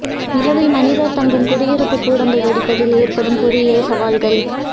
நிலவில் மனிதர் தங்கும் குடியிருப்புக் கூடங்கள் வடிப்பதில் எதிர்ப்படும் பொறியியல் சவால்கள்